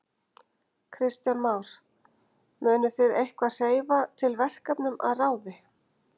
Kristján Már: Munuð þið eitthvað hreyfa til verkefnum að ráði?